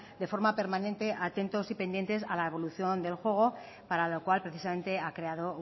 de forma permanente atentos y pendientes a la evolución del juego para lo cual precisamente ha creado